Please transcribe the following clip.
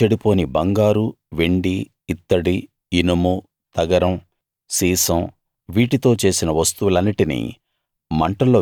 అగ్నితో చెడిపోని బంగారు వెండి ఇత్తడి ఇనుము తగరం సీసం వీటితో చేసిన వస్తువులన్నిటినీ